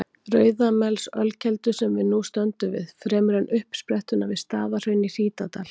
Rauðamelsölkeldu, sem við nú stöndum við, fremur en uppsprettuna við Staðarhraun í Hítardal.